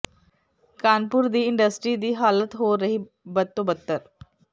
ਕਾਨਪੁਰ ਦੀ ਇੰਡਸਟਰੀ ਦੀ ਹਾਲਤ ਹੋ ਰਹੀ ਬਦ ਤੋਂ ਬਦਤਰ